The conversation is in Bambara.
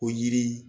O yiri